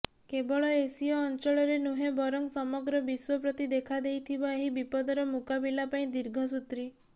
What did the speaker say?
କେବଳ ଏସୀୟ ଅଞ୍ଚଳରେ ନୁହେଁ ବରଂ ସମଗ୍ର ବିଶ୍ୱ ପ୍ରତି ଦେଖାଦେଇଥିବା ଏହି ବିପଦର ମୁକାବିଲା ପାଇଁ ଦୀର୍ଘସୂତ୍ରୀ